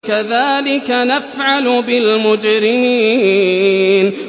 كَذَٰلِكَ نَفْعَلُ بِالْمُجْرِمِينَ